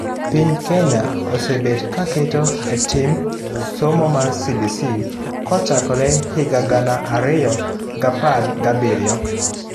Piny Kenya osee bet kaketo etim somo mar CBC kochakre higa gana ariyo gapar gabiriyo